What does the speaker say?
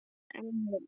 En já.